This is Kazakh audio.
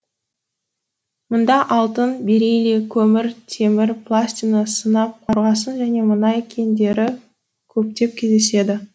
мұнда алтын бериллий көмір темір платина сынап қорғасын және мұнай кендері көптеп кездеседі